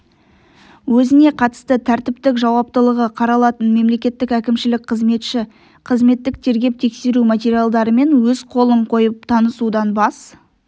өзіне қатысты тәртіптік жауаптылығы қаралатын мемлекеттік әкімшілік қызметші қызметтік тергеп-тексеру материалдарымен өз қолын қойып танысудан бас